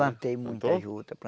Plantei muita juta.